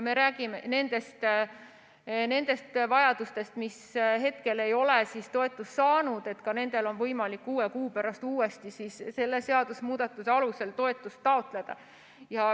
Me räägime nendest abivajajatest, kes hetkel ei ole toetust saanud, ka nendel on võimalik kuue kuu pärast uuesti selle seadusemuudatuse alusel toetust taotleda.